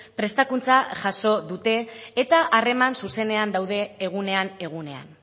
prestakuntza jaso dute eta harreman zuzenean daude egunean egunean